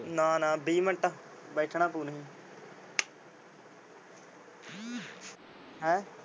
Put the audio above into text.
ਨਾ ਨਾ ਵੀਹ ਮਿੰਟ ਬੈਠਣਾ ਪਊ ਨਹੀ। ਹੈਂਅ